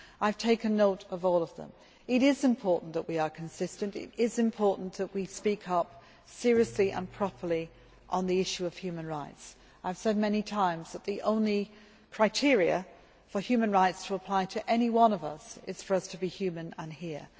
I have taken note of all of them. It is important that we are consistent. It is important that we speak up seriously and properly on the issue of human rights. I have said many times that the only criteria for human rights to apply to any one of us is for us to be human and here.